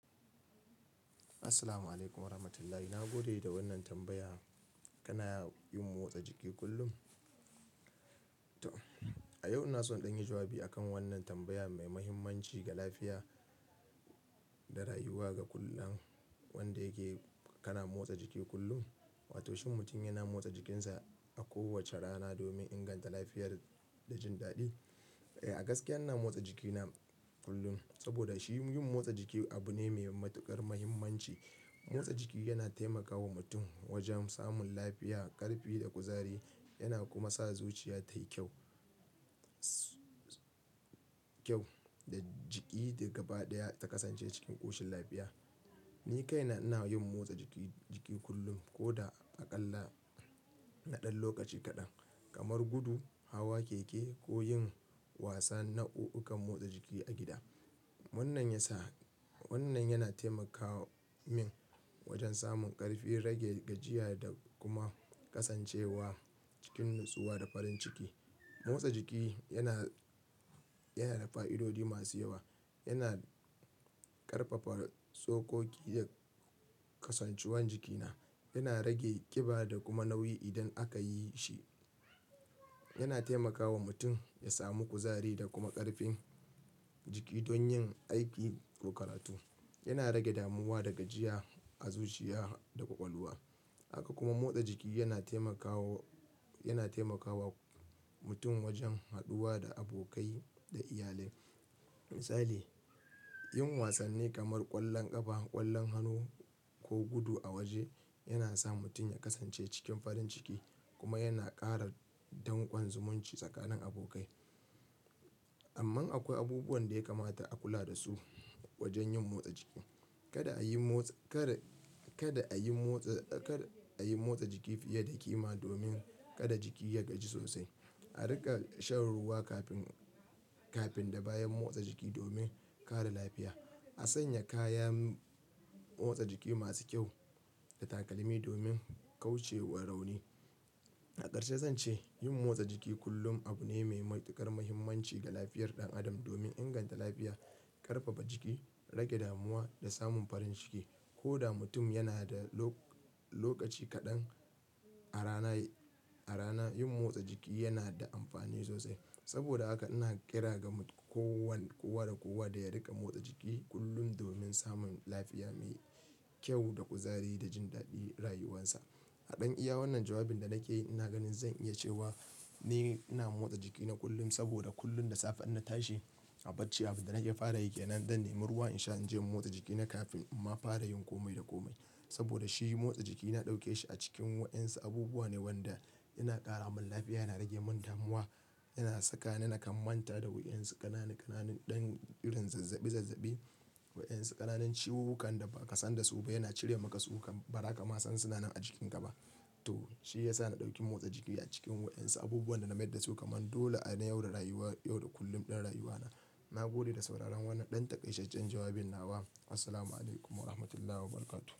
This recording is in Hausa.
Assalamu'alaikum wa rahmatullahi. Na gode da wannan tambaya. Kana yin motsa jiki kullum? To, a yau ina so in ɗan yi jawabi a kan wannan tambaya mai mahimmanci ga lafiya da rayuwa ga kullum wanda yake, kana motsa jiki kullum? Wato shin mutum yana motsa jikinsa a kowace rana domin inganta lafiyar da jin daɗi? Eh, gaskiya ina motsa jikina kullum saboda shi yin motsa jiki abu ne mai matuƙar mahimmanci. Motsa jiki yana taimakawa mutum wajen samun lafiya, ƙarfi da kuzari. Yana kuma sa zuciya tayi kyau, kyau da jiki da gaɓa ɗaya ta ƙasance cikin ƙoshin lafiya. Ni kaina ina yin motsa jiki, jiki kullum ko da aƙalla na ɗan lokaci kaɗan, kamar gudu, hawa keke ko yin wasan nau'ikan motsa jiki a gida. Wannan yasa, wannan yana taimaka min wajen samun ƙarfi, rage gajiya da kuma ƙasancewa cikin natsuwa da farin ciki. Motsa jiki yana, yana da fa'idodi masu yawa. Yana ƙarfafa tsokoki da kasantuwar jikina. Yana rage ƙiba da kuma nauyi idan aka yi shi. Yana taimakawa mutum ya samu kuzari da kuma ƙarfin jiki don yin aiki ko karatu. Yana rage damuwa da gajiya a zuciya da ƙwaƙwalwa. Haka kuma motsa jiki yana taimakawa, yana taimakawa mutum wajen haɗuwa da abokai da iyalai. Misali, yin wasanni kamar ƙwallon ƙafa, ƙwallon hannu ko gudu a waje yana sa mutum ya ƙasance cikin farin ciki kuma yana ƙara danƙon zumunci tsakanin abokai. Amman akwai abubuwan da ya kamata a kula da su wajen yin motsa jiki. Kada a yi motsa, kada, kada a yi motsa, kada a yi motsa jiki fiye da kima domin kada jiki ya gaji sosai. A riƙa shan ruwa kafin, kafin da bayan motsa jiki domin kare lafiya. A sanya kayan motsa jiki masu kyau da takalmi domin kauce wa rauni. A ƙarshe zan ce yin motsa jiki kullum abu ne mai matuƙar mahimmanci ga lafiyar ɗan adam domin inganta lafiya, ƙarfafa jiki, rage damuwa da samun farin ciki. Ko da mutum yana da lokaci kaɗan a rana, a rana yin motsa jiki yana da amfani sosai. Saboda haka ina ƙira ga kowann-- kowa da kowa da ya riƙa motsa jiki kullum domin samun lafiya mai kyau da kuzari da jin daɗin rayuwansa. A ɗan iya wannan jawabin da nake yi ina ganin zan iya cewa ni ina motsa jikina kullum saboda kullum da safe inna tashin a barci abin da nake fara aiki, nan zan nemi ruwa in sha an je motsa jikina kafin in ma fara yin komai da komai. Saboda shi motsa jiki na ɗauke shi a cikin waɗansu abubuwa ne wanda yana ƙara min lafiya, yana rage min damuwa, yana saka ni nakan manta da waɗansu ƙananan, ƙananan ɗan irin zazzaɓi zazzaɓi, waɗansu ƙananan ciwukan da ba ka san da su ba. Yana cire maka su kam. Ba haka ma san sunana a jikinka ba. To, shi ya sa na ɗauki motsa jiki a cikin waɗansu abubuwan da na mai da su kamar dole nayi a rayuwa, yau da kullum ɗin rayuwana. Na gode da sauraron wannan ɗan taƙaitaccen jawabin nawa. Assalamu'alaikum wa rahmatullahi wa barakatuh.